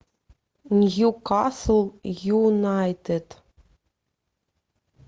ньюкасл юнайтед